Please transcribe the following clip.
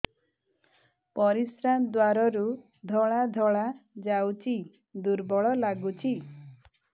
ପରିଶ୍ରା ଦ୍ୱାର ରୁ ଧଳା ଧଳା ଯାଉଚି ଦୁର୍ବଳ ଲାଗୁଚି